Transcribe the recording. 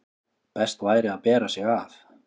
best væri að bera sig að.